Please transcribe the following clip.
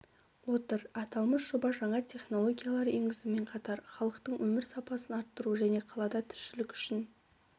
отыр аталмыш жоба жаңа технологиялар енгізумен қатар халықтың өмір сапасын арттыру және қалада тіршілік үшін